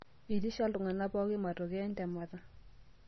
Eitisha iltungana pooki matokeo entemata.